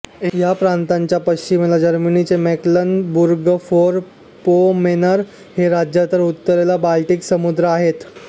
ह्या प्रांताच्या पश्चिमेला जर्मनीचे मेक्लेनबुर्गफोरपोमेर्न हे राज्य तर उत्तरेला बाल्टिक समुद्र आहेत